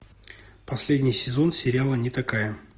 последний сезон сериала не такая